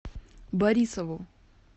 борисову